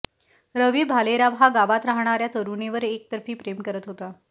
रवी भालेराव हा गावात राहणाऱ्या तरुणीवर एकतर्फी प्रेम करत होता